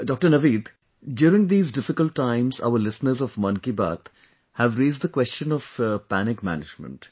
Dr Naveed, during these difficult times, our listeners of Mann ki Baat have raised the question of Panic Management